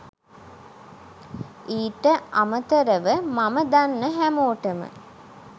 ඊට අමතරව මම දන්න හැමෝටම